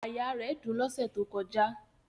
Àyà rẹ̀ dùn lọ́sẹ̀ tó kọjá